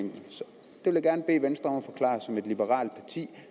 det vil jeg gerne bede venstre som liberalt parti